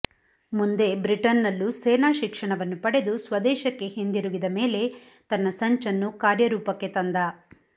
ಮುಂದೆ ಬ್ರಿಟನ್ ನಲ್ಲೂ ಸೇನಾ ಶಿಕ್ಷಣವನ್ನು ಪಡೆದು ಸ್ವದೇಶಕ್ಕೆ ಹಿಂದಿರುಗಿದ ಮೇಲೆ ತನ್ನ ಸಂಚನ್ನು ಕಾರ್ಯರೂಪಕ್ಕೆ ತಂದ